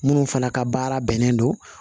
Minnu fana ka baara bɛnnen don